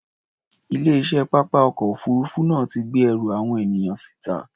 Ilé-iṣẹ́ pápá ọkọ̀ òfuurufú náà ti gbé ẹrù àwọn ènìyàn síta.